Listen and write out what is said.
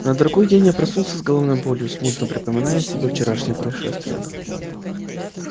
на другой день я проснулся с головною болью смутно припоминая себе вчерашние происшествия